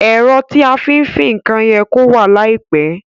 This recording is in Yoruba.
Èro tí a fí n fin nkan ye kó wà láìpe